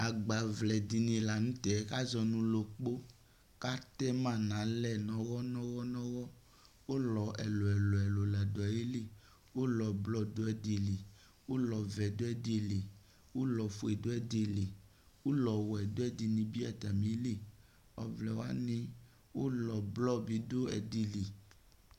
Agbaʋlɛ dini la n'tɛ k'azɔnu lokpo, k'atɛma n'alɛ n'uwɔ n'uwɔ n'uwɔ Ulɔ ɛlu ɛlu ɛlu la du ayilɩ Ulɔ blɔ du ɛdi lɩ, ulɔ vɛ du ɛdi lɩ ulɔ fue du ɛdi lɩ, ulɔ wɛ du ɛdinibi atamilɩ Ɔʋlɛ wani ulɔ blɔ bi du ɛdilɩ